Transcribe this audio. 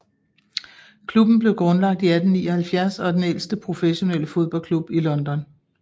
Klubben blev grundlagt i 1879 og er den ældste professionelle fodboldklub i London